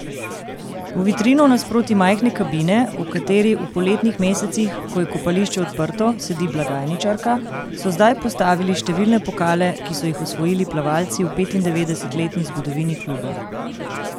V vitrino nasproti majhne kabine, v kateri v poletnih mesecih, ko je kopališče odprto, sedi blagajničarka, so zdaj postavili številne pokale, ki so jih osvojili plavalci v petindevetdesetletni zgodovini kluba.